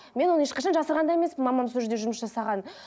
мен оны ешқашан жасырған да емеспін мамам сол жерде жұмыс жасағанын